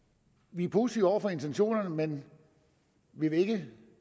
vi er positive over for intentionerne men vi vil ikke